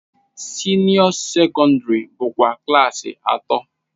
Senio secondary bụkwa klaasị atọ.